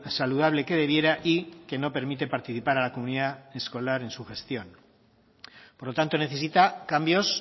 saludable que debiera y que no permite participar a la comunidad escolar en su gestión por lo tanto necesita cambios